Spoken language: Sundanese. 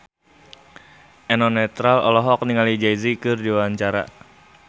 Eno Netral olohok ningali Jay Z keur diwawancara